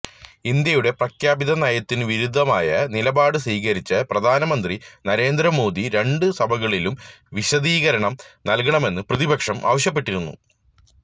ഇന്ത്യയുടെ പ്രഖ്യാപിത നയത്തിനു വിരുദ്ധമായ നിലപാട് സ്വീകരിച്ച പ്രധാനമന്ത്രി നരേന്ദ്രമോദി രണ്ട് സഭകളിലും വിശദീകരണം നല്കണമെന്ന് പ്രതിപക്ഷം ആവശ്യപ്പെട്ടിരുന്നു